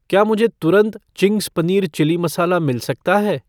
क्या मुझे तुरंत चिंग्स पनीर चिली मसाला मिल सकता है?